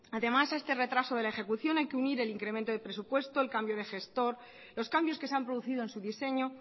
además a este retraso de la ejecución hay que unir el incremento de presupuesto el cambio de gestor los cambios que se han producido en su diseño